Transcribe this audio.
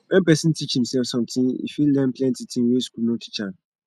when pesin teach imsef something e fit learn plenty tin wey school no go teach am